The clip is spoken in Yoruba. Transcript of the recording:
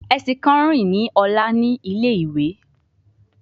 Ẹṣin kan nrin ni ọla ni ile-iwe